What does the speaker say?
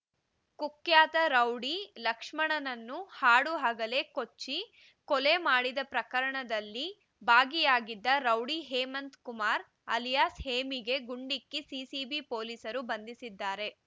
ಕುಖ್ಯಾತ ರೌಡಿ ಲಕ್ಷ್ಮಣನನ್ನು ಹಾಡುಹಗಲೇ ಕೊಚ್ಚಿ ಕೊಲೆ ಮಾಡಿದ ಪ್ರಕರಣದಲ್ಲಿ ಭಾಗಿಯಾಗಿದ್ದ ರೌಡಿ ಹೇಮಂತ್ ಕುಮಾರ್ ಅಲಿಯಾಸ್ ಹೇಮಿಗೆ ಗುಂಡಿಕ್ಕಿ ಸಿಸಿಬಿ ಪೊಲೀಸರು ಬಂಧಿಸಿದ್ದಾರೆ